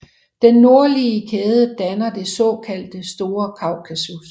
Den nordlige kæde danner det såkaldte Store Kaukasus